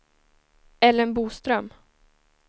Ellen Boström